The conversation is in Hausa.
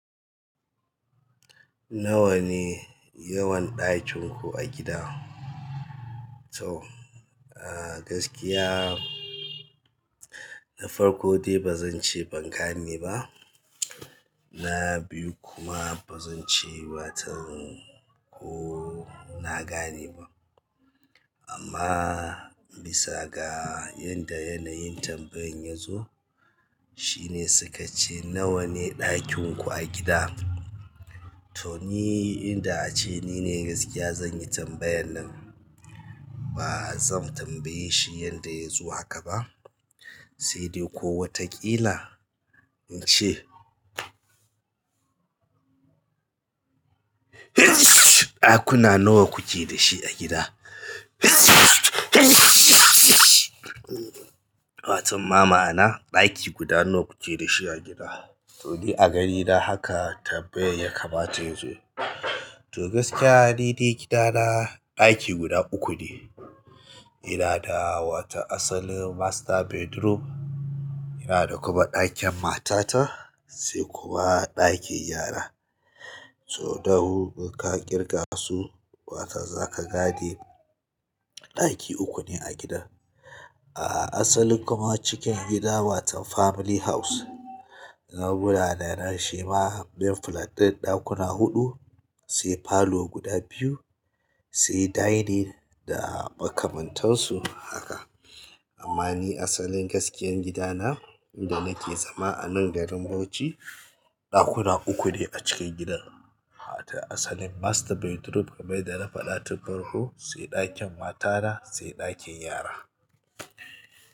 Nawa ne yawan ɗakin ku a gida? To, gaskiya na farko dai ba zan ce ban gane ba. Na biyu kuma ba zan ce watan ko na gane ba. Amma bisa ga yanda yanayin tambayan ya zo shine suka ce nawa ne ɗakin ku a gida? To ni inda a ce ni ne gaskiya zan yi tambayar nan. Ba zan tambaye shi yanda ya zo haka ba, sai dai ko wataƙila in ce ɗakuna nawa kuke da shi a gida? Watan ma ma'ana ɗaki guda nawa kuke da shi a gida? To ni a ganina haka tambayan ya kamata yazo. To gaskiya nidai gida na ɗaki guda uku ne ina da wata asalin master bedroom, ina da kuma ɗakin matata sai kuma ɗakin yara. To, dahu ka ƙirga su, watan za ka gane ɗaki uku ne a gidan. A asalin kuma cikin gida watan family house. Na bi na da na shima main flat ɗin ɗakuna huɗu sai parlour guda biyu sai dining da makamantansu haka. Amma ni asalin gaskiyar gidana inda nake zama anan garin Bauchi ɗakuna uku ne a cikin gidan. Watan asalin master bedroom kamar yadda na faɗa tun farko sai ɗakin matana sai ɗakin yara.